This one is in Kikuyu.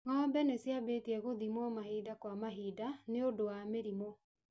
Ng'ombe nĩ cibatie gũthimwo mahinda kwa mahinda nĩ ũndũ wa mĩrimũ.